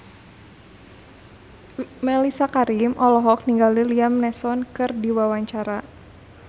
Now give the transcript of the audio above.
Mellisa Karim olohok ningali Liam Neeson keur diwawancara